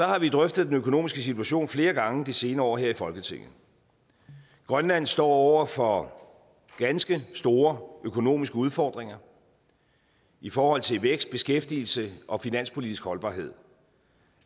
har vi drøftet den økonomiske situation flere gange de senere år her i folketinget grønland står over for ganske store økonomiske udfordringer i forhold til vækst beskæftigelse og finanspolitisk holdbarhed